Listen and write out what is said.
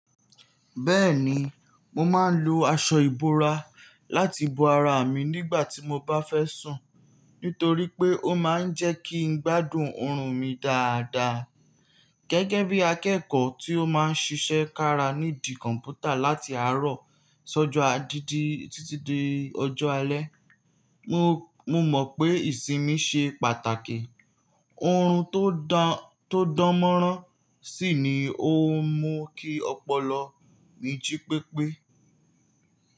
Bẹ́ẹ̀ni, mo máa ń lo aṣọ ìbora láti bo ara mi nígbà tí mo bá fẹ́ sùn, nítorí pé ó máa ń jẹ́ kí n gbádùn ọrùn mi dáadáa. Gẹ́gẹ́ bí akẹ́kọ̀ọ́ tí ó máa ń ṣiṣẹ́ kára nídi kọ̀npútà láti àárọ̀ sojo agidí titi dé ọjọ́ alẹ́, mo mọ̀ pé ìsinmi ṣe pàtàkì. Ọ̀run tó dánmọ́nrán sì ni ó mú kí ọpọlọ mi jí pépé.